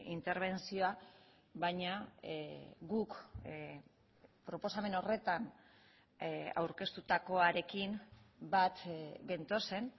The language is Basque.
interbentzioa baina guk proposamen horretan aurkeztutakoarekin bat gentozen